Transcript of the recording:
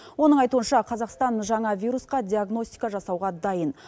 оның айтуынша қазақстан жаңа вирусқа диагностика жасауға дайын